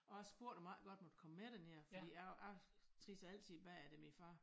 Og jeg spurgte om jeg ikke nok måtte komme med derned fordi jeg jeg trissede altid bagefter min far